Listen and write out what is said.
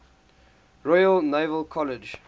royal naval college